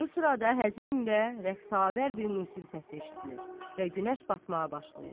Bu sırada həzin və rəqsavər bir musiqi səsi eşidilir və günəş batmağa başlayır.